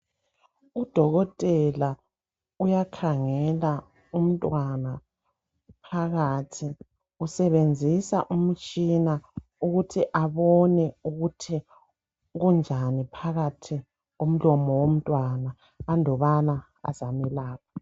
Udokotela uyakhangela umntwana phakathi, usebenzisa umtshina ukuthi abone ukuthi kunjani phakathi komlomo womntwana andubana ezamelapha.